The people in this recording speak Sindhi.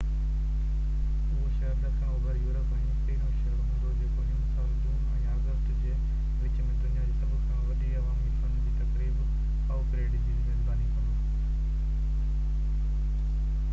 اهو شهر ڏکڻ اوڀر يورپ ۾ پهريون شهر هوندو جيڪو هن سال جون ۽ آگسٽ جي وچ ۾ دنيا جو سڀ کان وڏي عوامي فن جي تقريب ڪائو پريڊ جي ميزباني ڪندو